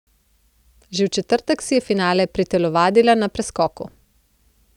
Že v četrtek si je finale pritelovadila na preskoku.